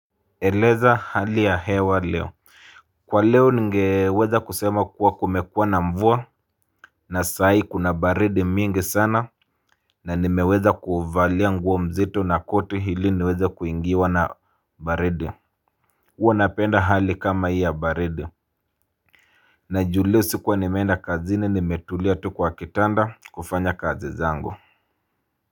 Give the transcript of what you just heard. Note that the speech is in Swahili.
Eleza hali ya hewa leo. Kwa leo, ningeweza kusema kuwa kumekuwa na mvua. Na saahi kuna baridi mingi sana. Na nimeweza kuvalia nguo mzito na koti hili niweze kuingiwa na baridi. Uwa napenda hali kama hii ya baridi. Na juliusi kwa nimenda kazini nimetulia tu kwa kitanda, kufanya kazi zangu.